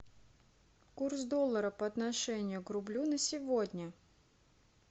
курс доллара по отношению к рублю на сегодня